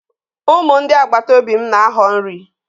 Ụmụ ndị agbataobi m na-ahọ nri.